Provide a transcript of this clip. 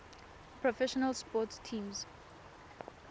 professional sports teams